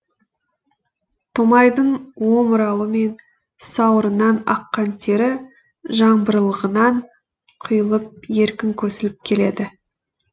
томайдың омырауы мен сауырынан аққан тері жаңбырлығынан құйылып еркін көсіліп келеді